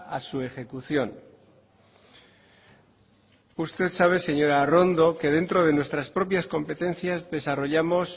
a su ejecución usted sabe señora arrondo que dentro de nuestras propias competencias desarrollamos